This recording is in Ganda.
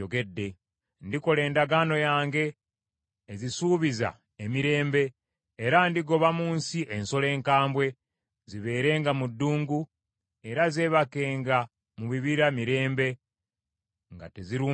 “ ‘Ndikola endagaano yange ezisuubiza emirembe, era ndigoba mu nsi ensolo enkambwe, zibeerenga mu ddungu era zeebakenga mu bibira mirembe nga tezirumbibwa.